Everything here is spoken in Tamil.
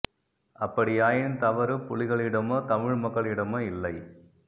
அப்படியாயின் தவறு புலிகளிடமோ தமிழ் மக்களிடமோ இல்லை